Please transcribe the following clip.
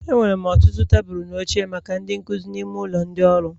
Enwere ọtụtụ tebụl na oche maka ndị nkuzi n'ime ụlọ ndị ọrụ